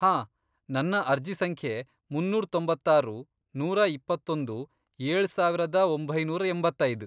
ಹಾಂ, ನನ್ನ ಅರ್ಜಿ ಸಂಖ್ಯೆ, ಮುನ್ನೂರ್ ತೊಂಬತ್ತಾರು, ನೂರಾ ಇಪ್ಪತ್ತೊಂದು, ಏಳ್ ಸಾವರದ ಒಂಬೈನೂರ್ ಎಂಬತ್ತೈದ್.